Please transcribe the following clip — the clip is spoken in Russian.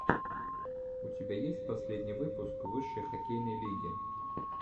у тебя есть последний выпуск высшей хоккейной лиги